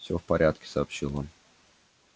всё в порядке сообщил он